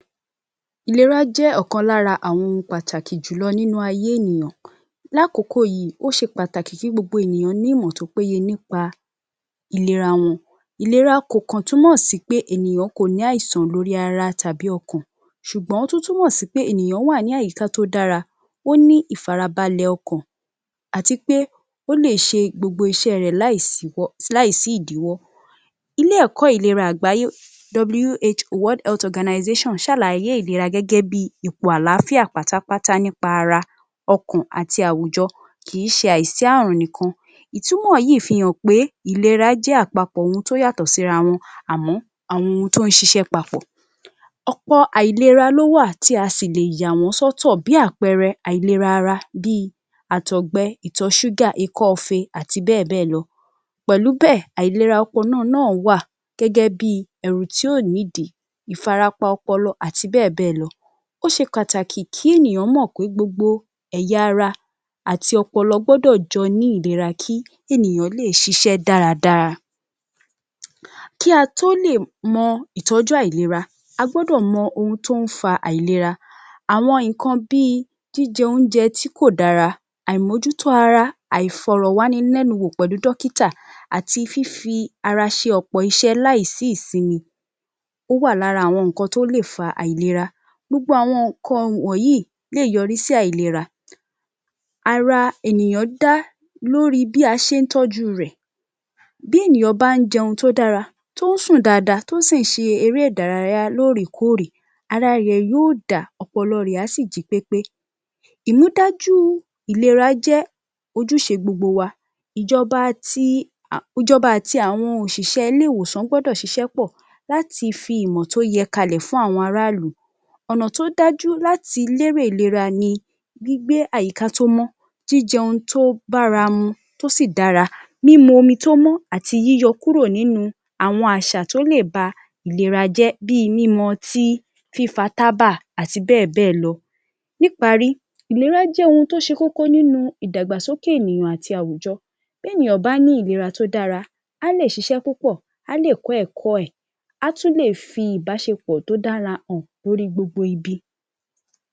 Ìlera jẹ́ ọ̀kan lára àwọn ohun pàtàkì jù lọ nínú ayé ènìyàn. Lákòkò yìí ó ṣe pàtàkì kí gbogbo ènìyàn ní ìmọ̀ tó péye nípa ìlera wọn. Ìlera kò kàn túmọ̀ sí pé ènìyàn kò ní àìsàn lórí ara tàbí ọkàn ṣùgbọ́n ó túmọ̀ sí pé èèyàn wà ní àyíká tó dára, ó ní ìfarabalẹ̀ ọkàn àti pé ó lè ṣe gbogbo iṣẹ́ rẹ̀ láì síwọ́, láì sí ìdíwọ́. Ilé-ẹ̀kọ́ ìlera àgbáyé WHO World Health Organisation ṣàlàyé ìlera gẹ́gẹ́bí ìpò àlàáfíà pátápátá nípa ara, ọkàn, àti àwùjọ. Kìí ṣe àìsí àrùn nìkan. Ìtumọ̀ yìí fi hàn pé ìlera jẹ́ àpapọ̀ ohun tó yàtọ̀ síra wọn àmọ́ àwọn ohun tó ń ṣiṣẹ́ papọ̀. Ọ̀pọ àìlera ló wà ti a sì lè yàwọ́n sọ́tọ̀ bí àpẹẹrẹ àìlera ara bí i àtọ̀gbe, ìtọ̀ sugar, ikọ́-ife, àti bẹ́ẹ̀bẹ́ẹ̀ lọ. Pẹ̀lú bẹ́ẹ̀, àìlera náà wá gẹ́gẹ́bí ẹ̀rù tí ò nídìí, ìfàrapa ọpọlọ àti bẹ́ẹ̀bẹ́ẹ̀ lọ. Ó ṣe pàtàkì kí ènìyàn mọ̀ pé gbogbo ẹ̀yà ara àti ọpọlọ gbọ́dọ̀ jọ ní ìlera kí ènìyàn lè ṣíṣe dáradára. Kí a tó lè mọ ìtọ́jú àìlera, a gbọ́dọ̀ mọ ohun tó ń fa àìlera. Àwọn nǹkan bí i jíjẹ oúnjẹ tí kò dára, àìmójútó ara, àìfọ̀rọ̀wánilẹ́nuwò pẹ̀lú dọ́kítà àti fífi ara ṣe ọ̀pọ̀ iṣẹ́ láì sí ìsinmi, ó wà lára àwọn nǹkan tó lè fa àìlera. Gbogbo àwọn nǹkan wọnyìí lè yọrí sí àìlera. Ara ènìyàn dá lóri bí a ṣé ń tọ́jú rẹ̀. Bí ènìyàn bá ń je ohun tó dára tó ń sùn dáadáa tó sìn ṣe eré-ìdárayá lóòrékóòrè, ara rẹ̀ yóò dá, ọpọlọ rẹ̀ á sì jí pépé. Ìmúdájú ìlera jẹ́ ojúṣe gbogbo wa. Ìjọba ti ìjọba àti àwọn òṣìṣẹ́ ilé-ìwòsàn gbọ́dọ̀ ṣíṣe pọ̀ láti fi ìmọ̀ tó yẹ kalẹ̀ fún àwọn arálù. Ọ̀nà tó dájú láti lérè ìlera ni gbígbé àyíká tó mọ́, jíjẹ ohun tó báramu tó sì dára, lílo omi tó mọ́ àti yíyọ kúrò nínú àwọn àṣà tó lè ba ìlera jẹ́ bí i mímu ọtí, fífa tábà, àti bẹ́ẹ̀bẹ́ẹ̀ lọ. Níparí, ìlera jẹ́ ohun tó ṣe kókó nínú ìdàgbàsókè ènìyàn àti àwùjọ. Bénìyàn bá ní ìlera tó dára, á lè ṣíṣe púpọ̀, á lè kọ́ ẹ̀kọ́ ẹ̀, á tún lè fi ìbáṣepọ̀ tó dára hàn lórí gbogbo ibi